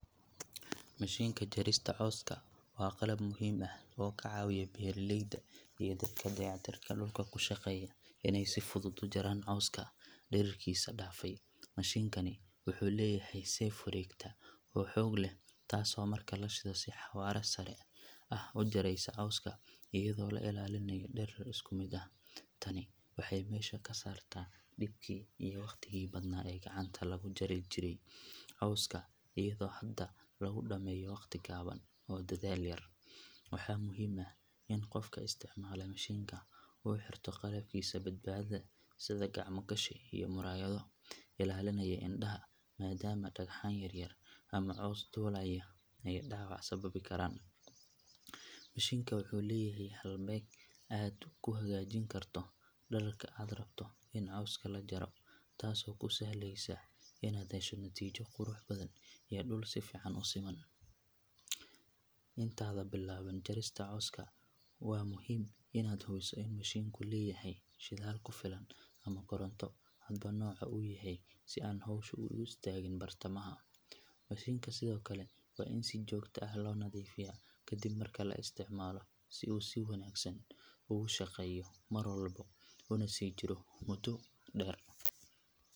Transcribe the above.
Mashinka jarista cawska waa qalab muhiim ah oo ka caawiya beeraleyda iyo dadka dayactirka dhulka ku shaqeeya inay si fudud u jaraan cawska dhererkiisa dhaafay. Mashinkani wuxuu leeyahay seef wareegta oo xoog leh taasoo marka la shido si xawaare sare ah u jaraysa cawska iyadoo la ilaalinayo dherer isku mid ah. Tani waxay meesha ka saartaa dhibkii iyo waqtigii badnaa ee gacanta lagu jari jiray cawska iyadoo hadda lagu dhameeyo waqti gaaban oo dadaal yar. Waxaa muhiim ah in qofka isticmaala mashinka uu xirto qalabkiisa badbaadada sida gacmo gashi iyo muraayado ilaalinaya indhaha maadaama dhagxaan yar yar ama caws duulaya ay dhaawac sababi karaan. Mashinka wuxuu leeyahay halbeeg aad ku hagaajin karto dhererka aad rabto in cawska la jaro taasoo kuu sahlaysa inaad hesho natiijo qurux badan iyo dhul si fiican u siman. Intaadan bilaabin jarista cawska waa muhiim inaad hubiso in mashinku leeyahay shidaal ku filan ama koronto hadba nooca uu yahay si aanu hawshu uga istaagin bartamaha. Mashinka sidoo kale waa in si joogto ah loo nadiifiyaa kadib marka la isticmaalo si uu si wanaagsan ugu shaqeeyo mar walba una sii jiro muddo dheer.